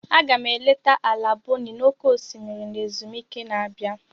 Aga m eleta ala Bonny n'oké osimiri na ezumike na-abịa.